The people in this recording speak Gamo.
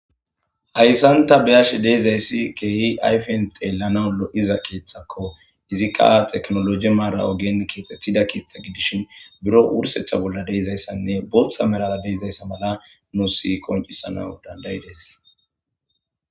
hayssanta beyash deezayssi keehi ayfen deellana lo7iza keeththakko izikka teknoloji maara ogen kioxethida keetha gidishin biro wursecha bolla deizayssanne boththa meraa deizayssa mala nu si koncisanau dandayides